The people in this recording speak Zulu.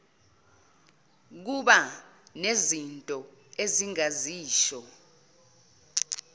kuba nezinto engingazisho